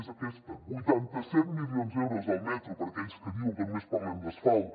és aquesta vuitanta set milions d’euros al metro per a aquells que diuen que només parlem d’asfalt